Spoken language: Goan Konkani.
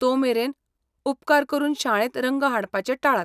तोमेरेन, उपकार करून शाळेंत रंग हाडपाचें टाळात.